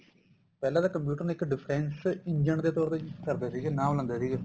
ਪਹਿਲਾਂ ਤਾਂ computer ਨੇ ਇੱਕ defense engine ਦੇ ਤੋਰ ਤੇ use ਕਰਦੇ ਸੀਗੇ ਨਾਮ ਲੈਂਦੇ ਸੀਗੇ